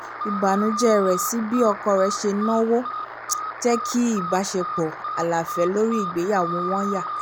ìbànújẹ rẹ̀ sí bí ọkọ rẹ̀ ṣe ń na owó jẹ́ kí ìbáṣepọ̀ aláfẹ́ lórí ìgbéyàwó wọn yà